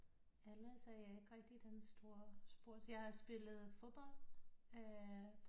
Ellers er jeg ikke rigtig den store jeg har spillet fodbold